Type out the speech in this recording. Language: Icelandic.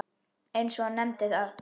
eins og hann nefndi það.